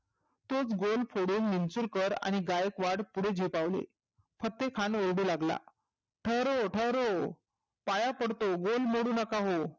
तोच गोल फोडून मिंचुरकर आणि गायकवाड पुढे झेपावले. फतेह खान ओरडू लागला ठहरो ठहरो पाया पडतो गोल मोडू नका हो.